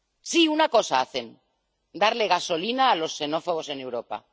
Sí, hacen una cosa darle gasolina a los xenófobos en Europa.